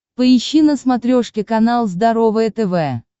поищи на смотрешке канал здоровое тв